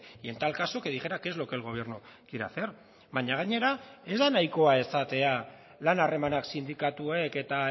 y en tal caso que dijera qué es lo que el gobierno quiere hacer baina gainera ez da nahikoa esatea lan harremanak sindikatuek eta